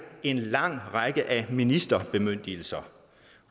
en lang række af ministerbemyndigelser